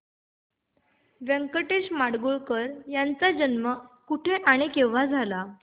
व्यंकटेश माडगूळकर यांचा जन्म कुठे आणि केव्हा झाला